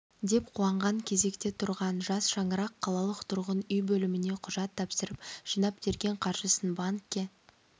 деп қуанған кезекте тұрған жас шаңырақ қалалық тұрғын үй бөлміне құжат тапсырып жинап-терген қаржысын банкке